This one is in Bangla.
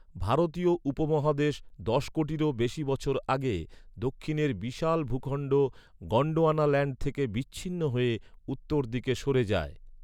ভারতীয় উপমহাদেশ দশ কোটিরও বেশি বছর আগে, দক্ষিণের বিশাল ভূখণ্ড গন্ডোয়ানাল্যাণ্ড থেকে বিচ্ছিন্ন হয়ে উত্তর দিকে সরে যায়।